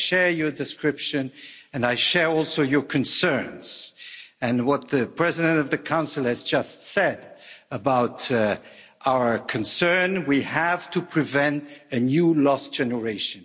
I share your description, and I share also your concerns and what the President of the Council has just said about our concern we have to prevent a new lost generation.